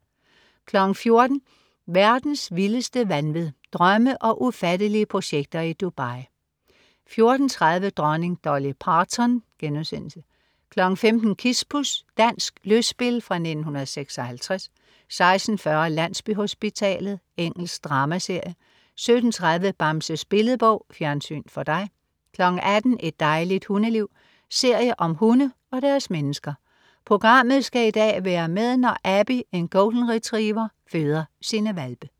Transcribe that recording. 14.00 Verdens vildeste vanvid. Drømme og ufattelige projekter i Dubai 14.30 Dronning Dolly Parton* 15.00 Kispus. Dansk lystspil fra 1956 16.40 Landsbyhospitalet. Engelsk dramaserie 17.30 Bamses Billedbog. Fjernsyn for dig 18.00 Et dejligt hundeliv. serie om hunde og deres mennesker. Programmet skal i dag være med, når Abbey, en Golden Retriever, føder sine hvalpe